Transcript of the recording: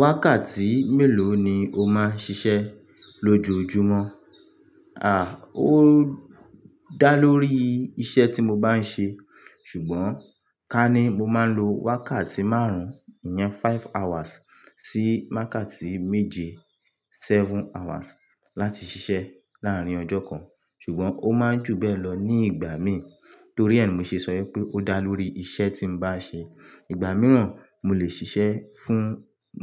Wákàtí mélòó ni o máa ń ṣiṣẹ́ lójoojúmọ́? À, ó dá lórí iṣẹ́ tí mo bá ń ṣe, ṣùgbọ́n ká ní mo máa ń lo wákàtí márùn-ún ìyẹn five hours sí wákàtí méje seven hours láti ṣiṣẹ́ láàárín ọjọ́ kan. Ṣùgbọ́n ó máa ń jù bẹ́ẹ̀ lọ ní ìgbà míì torí ẹ ni mo ṣe sọ ipé ó dá lórí iṣẹ́ tí n bá ṣe. Ìgbà mìíràn mo lè ṣiṣẹ́ fún